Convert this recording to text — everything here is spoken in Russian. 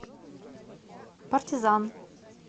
партизан